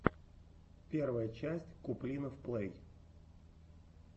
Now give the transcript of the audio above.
первая часть куплинов плэй